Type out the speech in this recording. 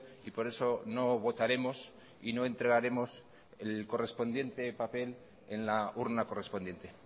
y por eso no votaremos y no entregaremos el correspondiente papel en la urna correspondiente